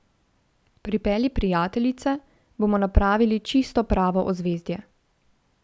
Pripelji prijateljice, bomo napravili čisto pravo ozvezdje!